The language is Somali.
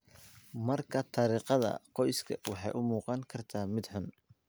Markaa, taariikhda qoysku waxay u muuqan kartaa mid xun.